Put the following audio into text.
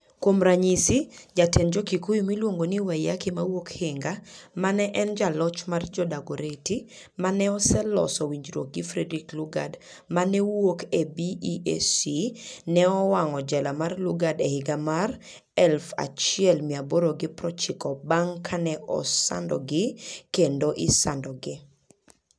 Kuom ranyisi, jatend Jo-Kikuyu miluongo ni Waiyaki ma wuok Hinga, ma ne en jaloch mar Jo-Dagoretti, ma ne oseloso winjruok gi Frederick Lugard ma ne wuok e BEAC, ne owang'o jela mar Lugard e higa mar 1890, bang' kane osandogi kendo isandogi.